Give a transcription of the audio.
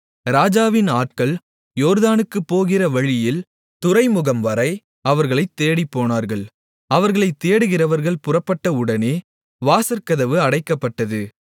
ராஜாவின் ஆட்கள் யோர்தானுக்குப் போகிற வழியில் துறைமுகம்வரை அவர்களைத் தேடிப்போனார்கள் அவர்களைத் தேடுகிறவர்கள் புறப்பட்டவுடனே வாசற்கதவு அடைக்கப்பட்டது